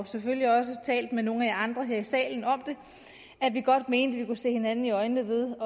selvfølgelig også talt med nogle af jer andre her i salen om det at vi godt mente kunne se hinanden i øjnene ved